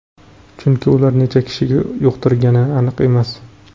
Chunki ular necha kishiga yuqtirgani aniq emas.